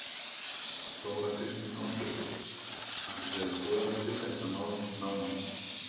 Þóra Kristín Ásgeirsdóttir: Ætlið þið að skoða þetta tiltekna mál nánar?